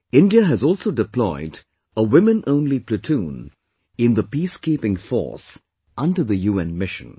India has also deployed a Womenonly Platoon in the Peacekeeping Force under the UN Mission